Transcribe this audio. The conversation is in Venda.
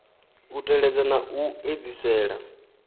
u tendelela na u edzisela